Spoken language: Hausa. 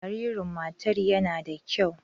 Jaririn matar yana da kyau.